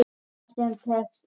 Annað sem tengist efninu